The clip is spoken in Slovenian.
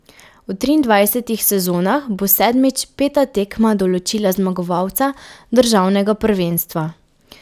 V triindvajsetih sezonah bo sedmič peta tekma določila zmagovalca državnega prvenstva.